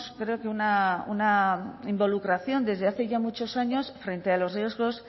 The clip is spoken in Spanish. creo que una involucración desde hace ya muchos años frente a los riesgos